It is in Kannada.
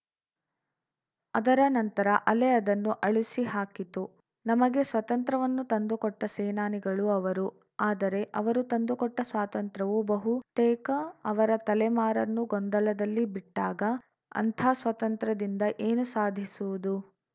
ಅದರ ನಂತರ ಅಲೆ ಅದನ್ನು ಅಳಿಸಿಹಾಕಿತು ನಮಗೆ ಸ್ವತಂತ್ರ್ಯವನ್ನು ತಂದುಕೊಟ್ಟಸೇನಾನಿಗಳು ಅವರು ಆದರೆ ಅವರು ತಂದುಕೊಟ್ಟಸ್ವಾತಂತ್ರ್ಯವು ಬಹುತೇಕ ಅವರ ತಲೆಮಾರನ್ನು ಗೊಂದಲದಲ್ಲಿ ಬಿಟ್ಟಾಗ ಅಂಥ ಸ್ವಾತಂತ್ರ್ಯದಿಂದ ಏನು ಸಾಧಿಸುವುದು